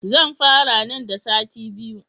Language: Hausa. Zan fara nan da sati biyu.